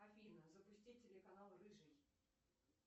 афина запусти телеканал рыжий